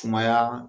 Sumaya